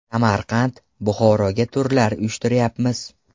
Samarqand, Buxoroga turlar uyushtiryapmiz.